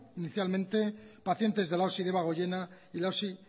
inicialmente pacientes de la osi debagoiena y la osi